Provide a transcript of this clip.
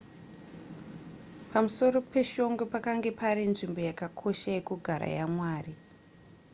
pamusoro peshongwe pakanga pari nzvimbo yakakosha yekugara yamwari